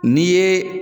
N'i ye